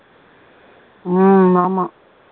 உம் ஆமா